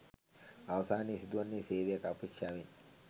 අවසානයේ සිදුවන්නේ සේවයක් අපේක්ෂාවෙන්